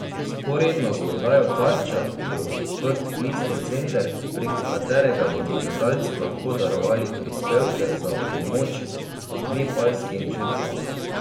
Vzporedno z oddajo Tarča bo odprt klicni center, preko katerega bodo gledalci lahko darovali prispevke za pomoč nepalskim žrtvam.